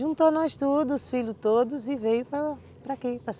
Juntou nós tudo , os filhos todos, e veio para aqui